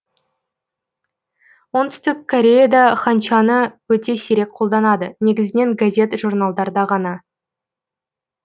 оңтүстік кореяде ханчаны өте сирек қолданады негізінен газет жорналдарда ғана